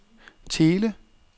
Thele